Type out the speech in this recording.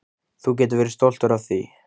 Þú getur verið stoltur af því.